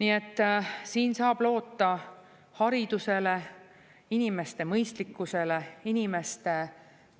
Nii et siin saab loota haridusele, inimeste mõistlikkusele, inimeste